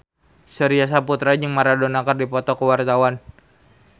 Surya Saputra jeung Maradona keur dipoto ku wartawan